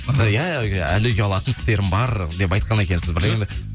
иә ы әлі ұялатын істерім бар деп айтқан екенсіз бір